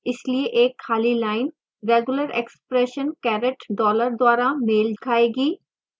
इसलिए एक खाली line regular expression caretdollar द्वारा मेल खाएगी